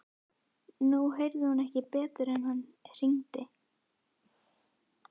Nú heyrði hún ekki betur en að hann hringdi.